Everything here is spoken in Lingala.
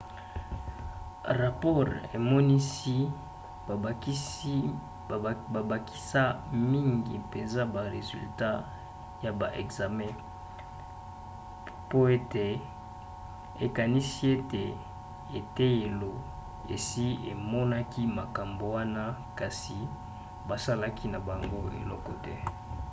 rapore emonisi babakisa mingi mpenza ba resultat ya ba ekzame pe ete ekanisi ete eteyelo esi emonaki makambo wana kasi basalaki na bango eloko te